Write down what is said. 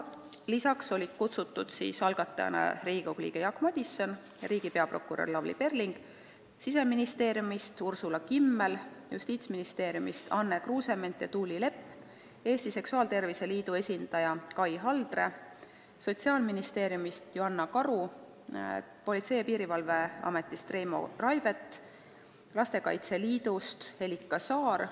Lisaks olid kohale kutsutud algatajana Riigikogu liige Jaak Madison, riigi peaprokurör Lavly Perling, Siseministeeriumist Ursula Kimmel, Justiitsministeeriumist Anne Kruusement ja Tuuli Lepp, Eesti Seksuaaltervise Liidu esindaja Kai Haldre, Sotsiaalministeeriumist Joanna Karu, Politsei- ja Piirivalveametist Reimo Raivet ning Lastekaitse Liidust Helika Saar.